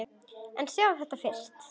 En sjáðu þetta fyrst!